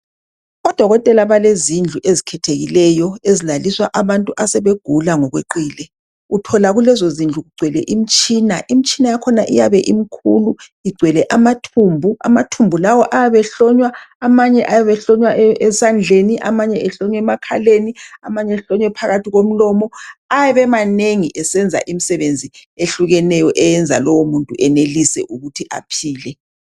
Odokotela belezindlu ezikhethekileyo ezilaliswa abantu asebegula ngokweqile. Uthola kulezo zindlu kugcwele imtshina, imtshina yakhona iyabe imkhulu igcwele amathumbu, amathumbu lawo ayabe ehlonywa, amanye ayabe ehlonywa esandleni, amanye ehlonywa emakhaleni, amanye ehlonywa phakathi komlomo. Ayabe emanengi esenza imisebenzi ehlukeneyo eyenza ukuthi lowomuntu enelise aphile.